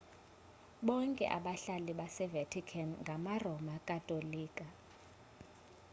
bonke abahlali base-vatican ngama-roma katolika